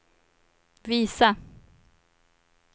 visa